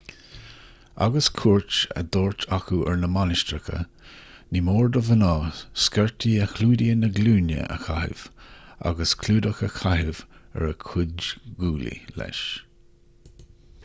agus cuairt á dtabhairt acu ar na mainistreacha ní mór do mhná sciortaí a chlúdaíonn na glúine a chaitheamh agus clúdach a chaitheamh ar a gcuid guaillí leis